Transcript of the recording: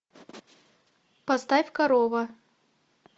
поставь корова